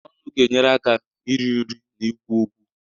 Ọnụ ga-enyere aka iri nri na ikwu okwu.